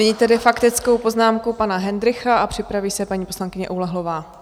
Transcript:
Nyní tedy faktickou poznámku pana Hendrycha a připraví se paní poslankyně Oulehlová.